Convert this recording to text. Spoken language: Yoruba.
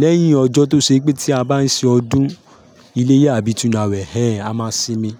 Lẹ́yìn ọjọ́ tó ṣe pé tí a bá ń ṣe ọdún iléyá àbí tunawẹ̀, hẹ́n a máa sinmi.